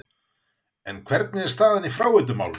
En hvernig er staðan í fráveitumálum?